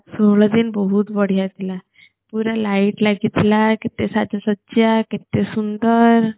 ସହଳ ଦିନ ବହୁତ ବଢ଼ିଆ ଥିଲା ପୁରା light ଲାଗି ଥିଲା କେତେ ସାଜ ସଜ୍ୟା କେତେ ସୁନ୍ଦର